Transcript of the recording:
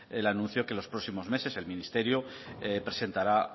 el anuncio de que los próximos meses el ministerio presentará